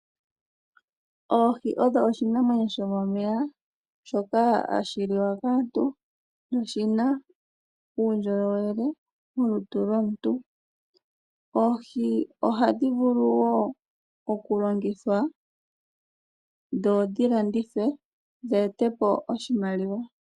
Oohi odho oshinamwenyo shomomeya, shoka hashi liwa kaantu noshina uundjolowele molutu lwomuntu. Oohi ohadhi vulu wo kulongithwa, dho dhi landithwe dho dhi etepo oshimaliwa.